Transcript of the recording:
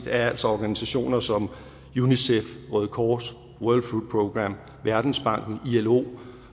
er altså organisationer som unicef røde kors world food programme verdensbanken ilo